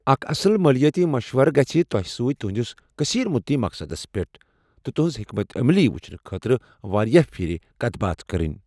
اکھ اصٕل مٲلیٲتی مشورٕ گژھہِ تۄہہِ سۭتۍ تہندِس کثیر مدتی مقصدس پٮ۪ٹھ تہٕ تہنٛز حكمت عملی وٕچھنہٕ خٲطرٕ واریاہ پھر كتھ باتھ کرٕنۍ ۔